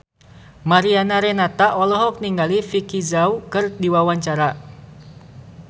Mariana Renata olohok ningali Vicki Zao keur diwawancara